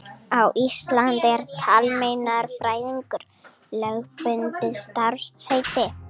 Á Íslandi er talmeinafræðingur lögbundið starfsheiti.